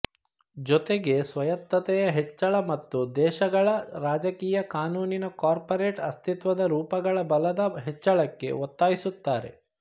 ಜೊತೆಗೆ ಸ್ವಾಯತ್ತತೆಯ ಹೆಚ್ಚಳ ಮತ್ತು ದೇಶಗಳ ರಾಜಕೀಯ ಕಾನೂನಿನ ಕಾರ್ಪೋರೇಟ್ ಅಸ್ತಿತ್ವದ ರೂಪಗಳ ಬಲದ ಹೆಚ್ಚಳಕ್ಕೆ ಒತ್ತಾಯಿಸುತ್ತಾರೆ